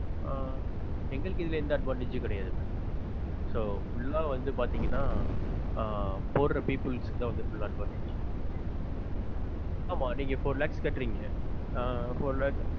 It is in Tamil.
எங்களுக்கு இதுல எந்த advantage உம் கிடயாது so full ஆ வந்து பாத்தீங்கனா போடுற people க்கு தான் வந்து full advantage ஆமா நீங்க இப்ப four lakhs கட்டுறீங்க ஆஹ் four lakhs